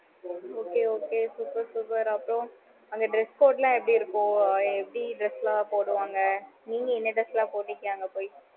okay okay super super அப்பறம் அந்த dress code லாம் எப்படி இருக்கு. எப்படி dress லாம் போடுவாங்க? நீங்க என்ன dress லாம் போட்டுருக்கீங்க அங்க போய்